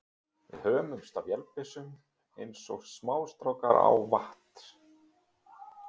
Við hömumst á vélbyssunum eins og smástrákar á vatns